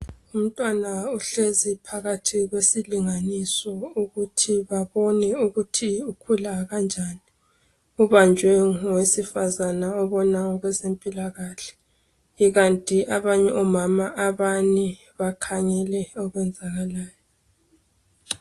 Umntwana ohlezi phakathi kwesilinganisonukuthi babone ukuthi ukhula kanjani. Ubanjwe ngowesifazana obona ngokwezempilakahle ikanti abanye omama abane bakhangele okwenzalayo.